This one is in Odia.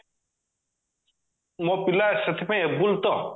ମୋ ପିଲା ସେଥିପାଇଁ able ତ